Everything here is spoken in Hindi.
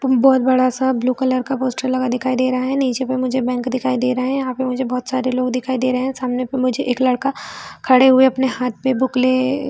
तुम बहोत बड़ा-सा ब्लू कलर का पोस्टर लगा हुआ दिखाई दे रहा है नीचे में मुझे बैंक दिखाई दे रहा है यहाँ पे मुझे बहोत सारे लोग दिखाई दे रहे है सामने पे मुझे एक लड़का खड़े हुए अपने हाथ में बुक लिए--